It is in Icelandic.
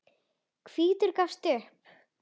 Hvítur gafst upp.